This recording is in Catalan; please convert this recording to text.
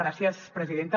gràcies presidenta